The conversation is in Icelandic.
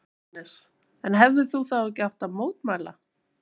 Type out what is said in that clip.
Jóhannes: En hefðir þú þá ekki átt að mótmæla?